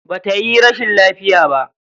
Ba tayi rashin lafiya ba.